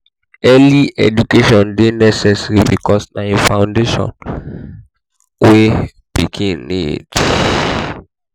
early education de necessary because na di foundation wey pikin need